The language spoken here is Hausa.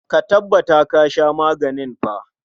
Ka tabbata ka sha maganin fa.